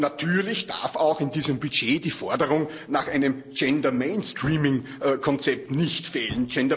Natürlich darf auch in diesem Budget die Forderung nach einem Gender Mainstreaming Konzept nicht fehlen.